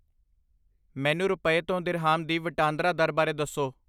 ਮੈਨੂੰ ਰੁਪਏ ਤੋਂ ਦਿਰਹਾਮ ਦੀ ਵਟਾਂਦਰਾ ਦਰ ਬਾਰੇ ਦੱਸੋ